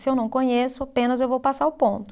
Se eu não conheço, apenas eu vou passar o ponto.